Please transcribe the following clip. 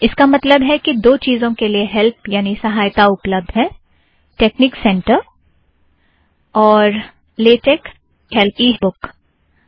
इसका मतलब है कि दो चिज़ों के लिए हैल्प यानि सहायता उपलब्द है टेकनिक सेंटर एवं लेटेक इ हैल्प बुक के लिए